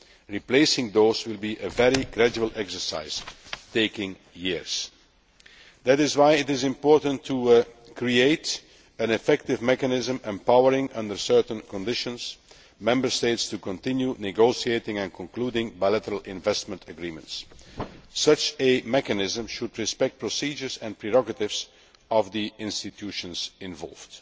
Replacing those will be a very gradual exercise, taking years. That is why it is important to create an effective mechanism empowering the Member States, under certain conditions, to continue negotiating and concluding bilateral investment agreements. Such a mechanism should respect the procedures and prerogatives of the institutions involved.